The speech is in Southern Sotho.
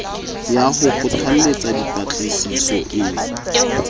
ya ho kgothalletsa dipatlisiso e